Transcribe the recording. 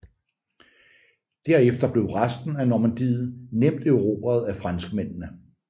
Derefter blev resten af Normandiet nemt erobret af franskmændene